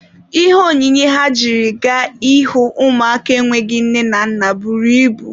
Ihe onyinye ha jiri gaa ịhụ ụmụaka enweghị nne na nna buru ibu.